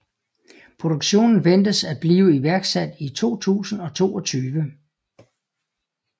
Produktionen ventes at blive iværksat i 2022